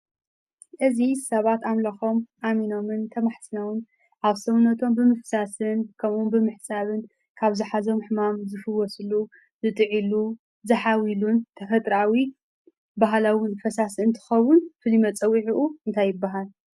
እዚ ሰባት ኣምልኸም ኣሚኖምን ተማሕፂኖምን ኣብ ሰውነቶም ብፍሳስን ከምእውን ብምሕፃብን ሕማም ዝፍወስሉ ፣ዝጥዕሉ፣ ዝሓዊሉ ተፈጥራዊ ባህላዊ ፈሳሲ እንትኸውን ፉሉይ መፀዊዕኡ እንታይ ይባሃል?